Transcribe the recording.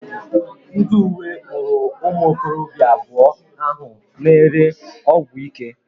Ndi uwe kpụrụ ụmụ okorobịa abuo ahụ na ere ọgwụ ike